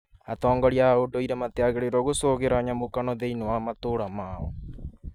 Atongoria a ũndũire matiagĩrĩirũo gũcogera nyamũkano thĩinĩ wa matũra mao